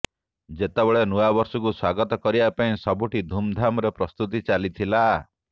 ଯେତେବେଳେ ନୂଆବର୍ଷକୁ ସ୍ୱାଗତ କରିବା ପାଇଁ ସବୁଠି ଧୁମଧାମରେ ପ୍ରସ୍ତୁତି ଚାଲିଥିଲା